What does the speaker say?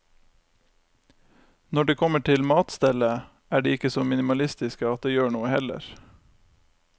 Når det kommer til matstellet, er de ikke så minimalistiske at det gjør noe heller.